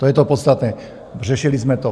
To je to podstatné, řešili jsme to.